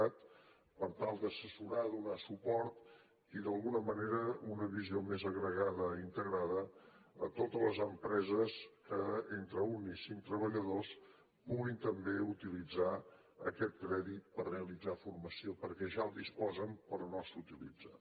cat per tal d’assessorar donar suport i d’alguna manera una visió més agregada i integrada a totes les empreses que entre un i cinc treballadors puguin també utilitzar aquest crèdit per realitzar formació perquè ja en disposen però no s’utilitza